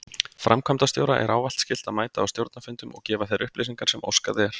Framkvæmdastjóra er ávallt skylt að mæta á stjórnarfundum og gefa þær upplýsingar sem óskað er.